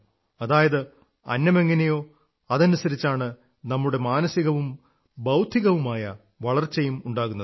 അതായത് അന്നമെങ്ങനെയോ അതനുസരിച്ചാണ് നമ്മുടെ മാനസികവും ബൌദ്ധികവുമായ വളർച്ചയും ഉണ്ടാകുന്നത്